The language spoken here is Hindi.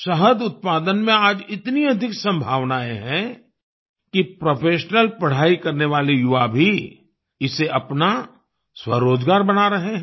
शहद उत्पादन में आज इतनी अधिक संभावनाएं हैं कि प्रोफेशनल पढ़ाई करने वाले युवा भी इसे अपना स्वरोजगार बना रहे हैं